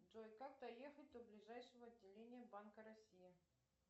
джой как доехать до ближайшего отделения банка россии